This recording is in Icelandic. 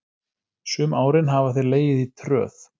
Sum árin hafa þeir legið í tröð.